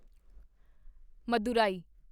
Madurai